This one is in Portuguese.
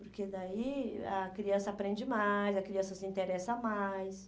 Porque daí a criança aprende mais, a criança se interessa mais.